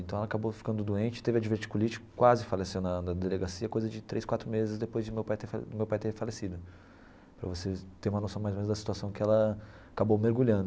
Então ela acabou ficando doente, teve a diverticulite, quase faleceu na na delegacia, coisa de três, quatro meses depois de meu pai ter fa ter falecido, para você ter uma noção mais ou menos da situação que ela acabou mergulhando.